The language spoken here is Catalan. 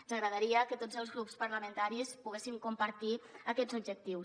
ens agradaria que tots els grups parlamentaris poguessin compartir aquests objectius